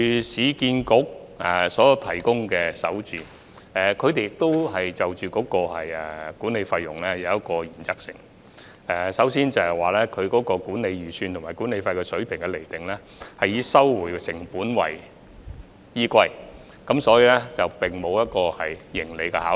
市建局的首置項目，在管理費方面依循一個原則，就是管理預算和管理費水平以收回成本為原則，沒有盈利的考慮。